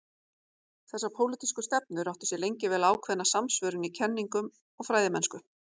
Þessar pólitísku stefnur áttu sér lengi vel ákveðna samsvörun í kenningum og fræðimennsku.